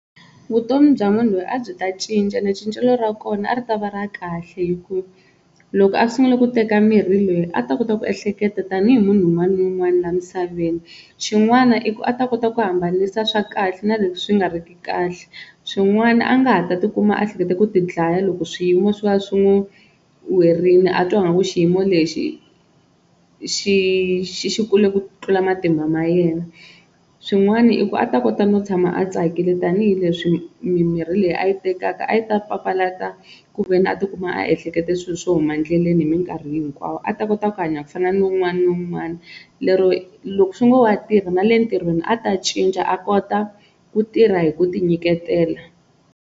Vutomi bya munhu loyi a byi ta cinca ene cincelo ra kona ri ta va ra kahle hi ku loko a sungule ku teka mirhi leyi a ta kota ku ehleketa tanihi munhu un'wana na un'wana laha misaveni, xin'wana i ku a ta kota ku hambanisa swa kahle na leswi swi nga ri ki kahle swin'wana a nga ha ta tikuma a hleketa ku ti dlaya loko swiyimo swo va swi n'wi werile a twa ngaku xiyimo lexi xi xi xi kule ku tlula matimba ma yena, swin'wana i ku a ta kota no tshama a tsakile tanihileswi mimirhi leyi a yi tekaka a yi ta papalata ku ve ni a tikuma a ehleketa swilo swo huma endleleni hi minkarhi hinkwayo, a ta kota ku hanya ku fana ni wun'wana ni wun'wana lero loko swi ngo wa tirha na le ntirhweni a ta cinca a kota ku tirha hi ku ti nyiketela.